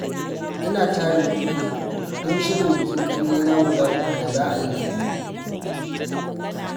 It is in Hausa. Ina tarin kuɗi don shirin bikin ƙannena guda uku da za a yi baɗi